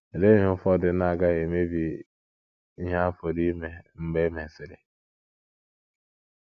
Olee ihe ụfọdụ na - agaghị emebi ihe a pụrụ ime mgbe e mesiri?